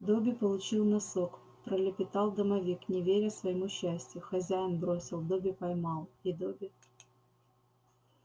добби получил носок пролепетал домовик не веря своему счастью хозяин бросил добби поймал и добби